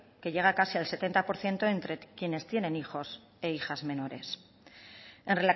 que llega casi al setenta por ciento entre quienes tienen hijos e hijas menores en